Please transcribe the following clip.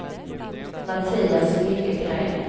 Mattias Liljegren